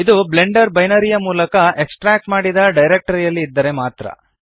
ಇದು blender binary ಯು ಮೂಲ ಎಕ್ಸ್ಟ್ರಾಕ್ಟ್ ಮಾಡಿದ ಡಿರೆಕ್ಟರಿ ಯಲ್ಲಿ ಇದ್ದರೆ ಮಾತ್ರ